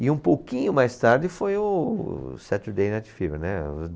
E um pouquinho mais tarde foi o Saturday Night Fever, né?